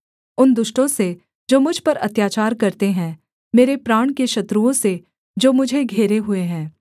उन दुष्टों से जो मुझ पर अत्याचार करते हैं मेरे प्राण के शत्रुओं से जो मुझे घेरे हुए हैं